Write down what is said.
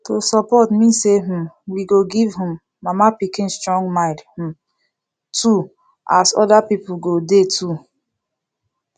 to support mean say um we go give um mama pikin strong mind um too as other people go dey too